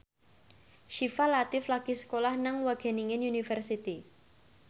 Syifa Latief lagi sekolah nang Wageningen University